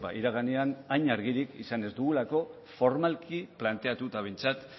iraganean hain argirik izan ez dugulako formalki planteatuta behintzat